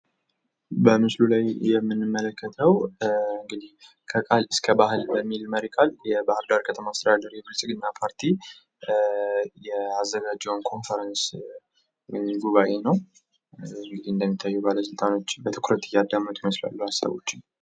በምስሉ ላይ የምንመለከተዉ "ከቃል እስከ ባህል" በሚል መሪ ቃል የባህርዳር ከተማ አስተዳደር የብልፅግና ፓርቲ ያዘጋጀዉ ኮንፈረስ ጉባኤ ነዉ። እንደሚታየዉ ባለስልጣኖች በትኩረት እያደመጡ እንዳለ ያሳያል በምስሉ ላይ።